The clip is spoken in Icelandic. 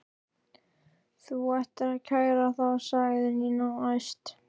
Þú ættir að kæra þá sagði Nína æst.